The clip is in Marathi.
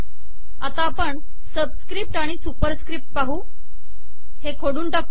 आता आपण सबिसकपट आिण सुपरिसकपट हे पाहू ए हे खोडून टाकू